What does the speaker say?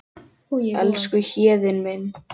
Elsku Héðinn minn.